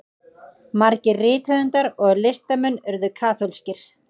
margir rithöfundar og listamenn urðu kaþólskir